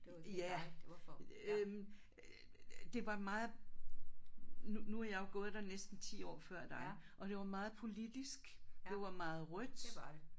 Ja øh det var meget nu nu har jeg jo gået der næsten 10 år før dig og det var meget politisk det var meget rødt